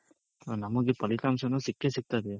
ನಮಗೆ ಫಲಿತಾಂಶನು ಸಿಕ್ಕೆ ಸಿಕ್ತದೆ.